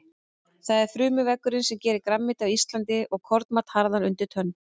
Það er frumuveggurinn sem gerir grænmeti, ávexti og kornmat harðan undir tönn.